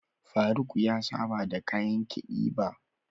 Faruq ya saba da kayan kiɗi ba.